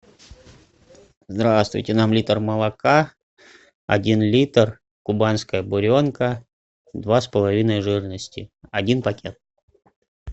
здравствуйте нам литр молока один литр кубанская буренка два с половиной жирности один пакет